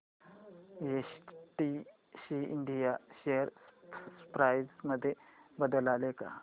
STC India share price मध्ये बदल आलाय का